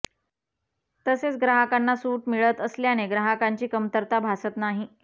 तसेच ग्राहकांना सूट मिळत असल्याने ग्राहकांची कमतरता भासत नाही